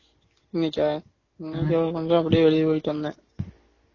இன்னிக்கா மங்களம் பாட்டி அப்படியே வெளிய போயிட்டு வந்தேன்